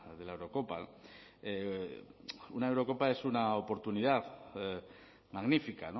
de la eurocopa una eurocopa es una oportunidad magnífica